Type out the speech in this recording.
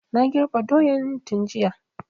Na girbe doyan tun jiya